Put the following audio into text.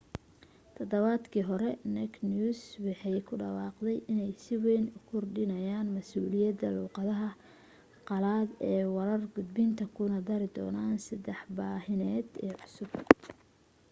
todobaadkii hore naked news waxay ku dhawaaqeen inay si wayn u kordhinayaa masuuliyadood luuqadaha qalaad ee warar gudbinta kuna dari doonaan saddex baahineed oo cusub